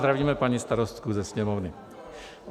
Zdravíme paní starostku ze Sněmovny.